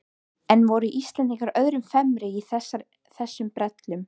En voru Íslendingar öðrum fremri í þessum brellum?